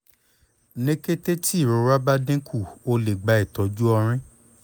ni kete ti irora ba dinku o le gba itọju ọrin